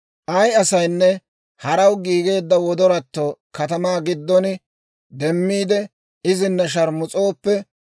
«Ay asaynne haraw giigeedda wodoratto katamaa giddon demmiide izina sharmus'ooppe,